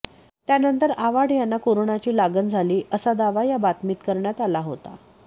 त्यानंतर आव्हाड यांना कोरोनाची लागण झाली असा दावा या बातमीत करण्यात आला होता